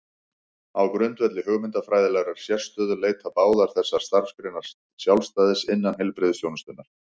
Á grundvelli hugmyndafræðilegrar sérstöðu leita báðar þessar starfsgreinar sjálfstæðis innan heilbrigðisþjónustunnar.